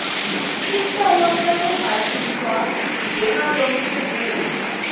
sicelo sekubhaliswa njengalotfumela